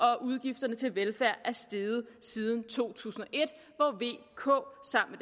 og at udgifterne til velfærd er steget siden to tusind og k sammen